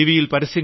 താങ്കൾ ടി